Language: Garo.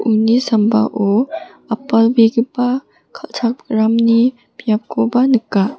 uni sambao apalbegipa kal·chakramni biapkoba nika.